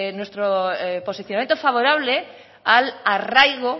posicionamiento favorable al arraigo